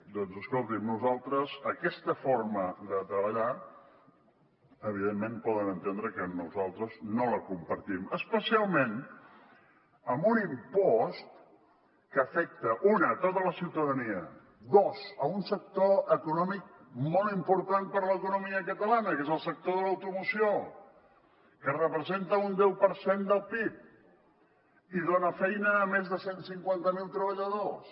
doncs escoltin nosaltres aquesta forma de treballar evidentment poden entendre que nosaltres no la compartim especialment amb un impost que afecta un tota la ciutadania dos un sector econòmic molt important per l’economia catalana que és el sector de l’automoció que representa un deu per cent del pib i dona feina a més de cent i cinquanta miler treballadors